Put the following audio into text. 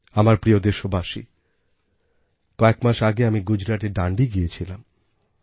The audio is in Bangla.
আমার প্রিয় দেশবাসী কয়েক মাস আগে আমি গুজরাটের ডান্ডি গিয়েছিলাম